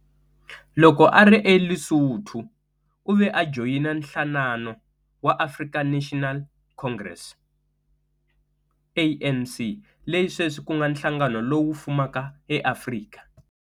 Loko a ri eLesotho, u ve a joyina nhlanano wa African National Congress, ANC, leyi sweswi ku nga nhlangano lowu fumak eAfrika.